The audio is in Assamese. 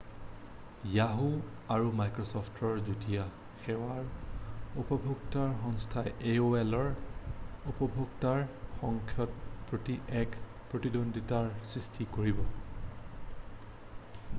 য়াহু! আৰু মাইক্ৰ’চ’ফ্টৰ যুটীয়া সেৱাৰ উপভোক্তাৰ সংখ্যাই aolৰ উপভোক্তাৰ সংখ্যাৰ প্ৰতি এক প্ৰতিদ্বন্দ্বিতাৰ সৃষ্টি কৰিব।